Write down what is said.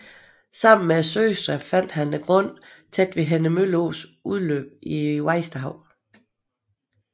Sammen med søstrene fandt han grunden tæt ved Henne Mølle Ås udløb i Vesterhavet